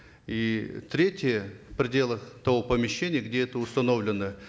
и третья в пределах того помещения где это установлено